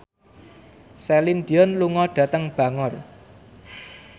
Celine Dion lunga dhateng Bangor